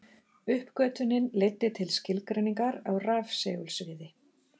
Uppgötvunin leiddi til skilgreiningar á rafsegulsviði.